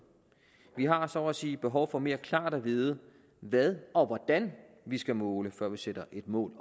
vi har så at sige behov for mere klart at vide hvad og hvordan vi skal måle før vi sætter et mål